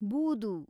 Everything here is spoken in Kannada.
ಬೂದು